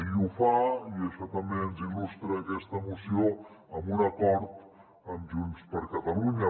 i ho fa i això també ens ho il·lustra aquesta moció amb un acord amb junts per catalunya